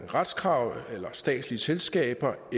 retskrav eller statslige selskaber og